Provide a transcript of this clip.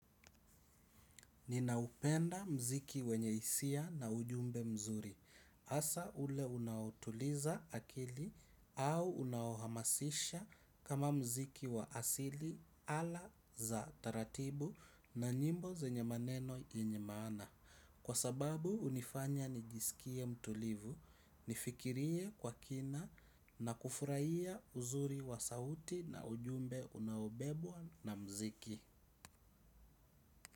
Ninaupenda mziki wenye isia na ujumbe mzuri. Asa ule unautuliza akili au unahamasisha kama mziki wa asili ala za taratibu na nyimbo zenye maneno yenye mana. Kwa sababu unifanya nijisikie mtulivu, nifikirie kwa kina na kufurahia uzuri wa sauti na ujumbe unahobebwa na mziki.